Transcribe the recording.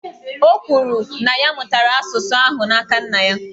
O kwuru, na ya mụtara asụsụ ahụ n’aka nna ya